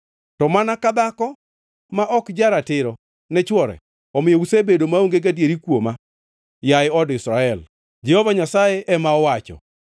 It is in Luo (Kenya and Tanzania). To mana ka dhako ma ok ja-ratiro ne chwore, omiyo usebedo maonge gadieri kuoma, yaye od Israel,” Jehova Nyasaye ema owacho.